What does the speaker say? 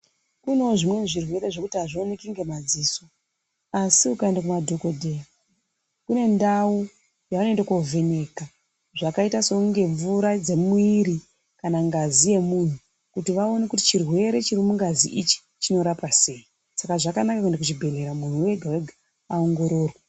Kunewo zvimweni izvirwere zvekuti hazvioneki nemadziso asi ukaenda kumadhokodheya kune ndau yaanoenda kovheneka zvakaita sekunge mvura dzemuwiri kana ngazi yemunhu kuti vaone kuti chirwere chiri mungazi ichi chinorapwa sei, saka zvakanaka kuenda kuzvibhehleya munhu wega wega aongororwe.